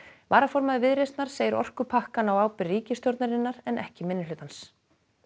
varaformaður Viðreisnar segir orkupakkann á ábyrgð ríkisstjórnarinnar ekki minnihlutans